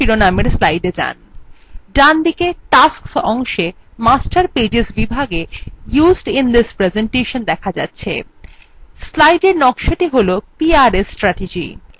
ডানদিকে tasks অংশে master pages বিভাগে used in this presentationwe দেখা যাচ্ছে slide নকশাটি হল prs strategy